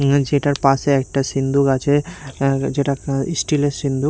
উঁ যেটার পাশে একটা সিন্দুক আছে আর যেটা আ ইস্টিল -এর সিন্দুক।